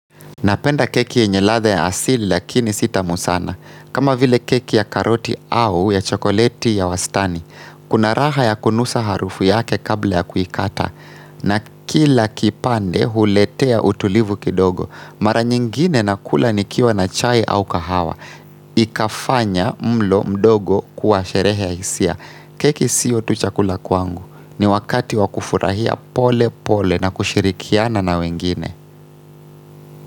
Napenda keki yenye ladha ya asili lakini si tamu sana. Kama vile keki ya karoti au ya chokoleti ya wastani. Kuna raha ya kunusa harufu yake kabla ya kuikata. Na kila kipande huletea utulivu kidogo. Mara nyingine nakula nikiwa na chai au kahawa. Ikafanya mlo mdogo kuwa sherehe ya hisia. Keki sio tu chakula kwangu. Ni wakati wa kufurahia pole pole na kushirikiana na wengine.